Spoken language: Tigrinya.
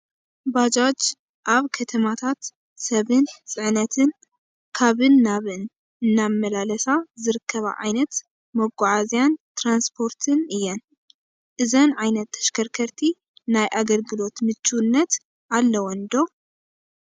ባጃጅ ኣብ ከተማታት ሰብን ፅዕነትን ካብን ናብን እናመላለሳ ዝርከባ ዓይነት መጓዓዓዝን ትራንስፖርትን እየን፡፡ እዘን ዓይነት ተሽከርከርቲ ናይ ኣግልግሎት ምችውነት ኣለወን ዶ?